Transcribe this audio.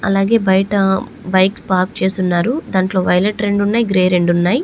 అలాగే బయట bikes park చేసి ఉన్నారు. దాంట్లో వైలెట్ రెండున్నాయి గ్రే రెండున్నాయి.